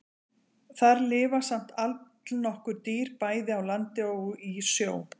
Þar lifa samt allnokkur dýr, bæði á landi og í sjó.